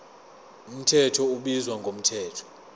mthetho ubizwa ngomthetho